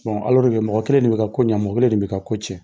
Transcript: mɔgɔ kelen de bɛ ka ko ɲɛ mɔgɔ kelen de bɛ ka ko cɛn.